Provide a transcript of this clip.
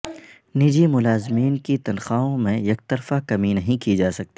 نجی ملازمین کی تنخواہوں میں یکطرفہ کمی نہیں کی جا سکتی